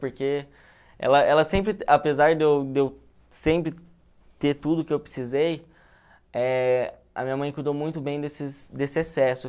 Porque ela ela sempre, apesar de eu de eu sempre ter tudo que eu precisei, eh a minha mãe cuidou muito bem desses desse excesso.